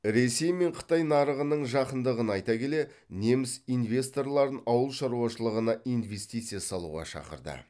ресей мен қытай нарығының жақындығын айта келе неміс инвесторларын ауыл шаруашылығына инвестиция салуға шақырды